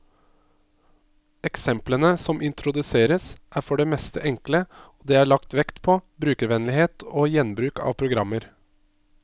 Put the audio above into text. Eksemplene som introduseres, er for det meste enkle, og det er lagt vekt på brukervennlighet og gjenbruk av programmer.